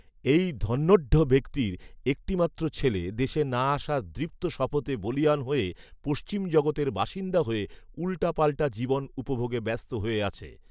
এই ধন্যঢ্য ব্যক্তির একটি মাত্র ছেলে দেশে না আসার দৃপ্ত শপথে বলীয়ান হয়ে পশ্চিম জগতের বাসিন্দা হয়ে উল্টাপাল্টা জীবন উপভোগে ব্যস্ত হয়ে আছে